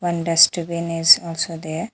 One dustbin is also there.